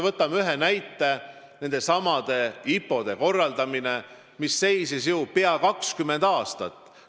Võtame või ühe näite: nendesamade IPO-de korraldamine, mis seisis ju pea 20 aastat.